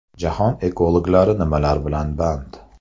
Jahon ekologlari nimalar bilan band?